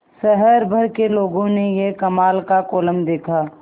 शहर भर के लोगों ने यह कमाल का कोलम देखा